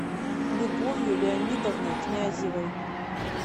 любовью леонидовной князевой